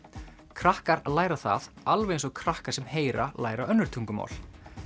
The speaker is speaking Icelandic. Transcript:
krakkar læra það alveg eins og krakkar sem heyra læra önnur tungumál